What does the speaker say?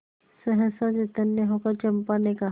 सहसा चैतन्य होकर चंपा ने कहा